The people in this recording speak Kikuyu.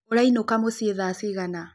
Ũraĩnũka mũciĩ thaa cĩgana?